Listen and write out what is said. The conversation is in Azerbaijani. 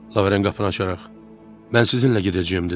Lavrent qapını açaraq: Mən sizinlə gedəcəyəm dedi.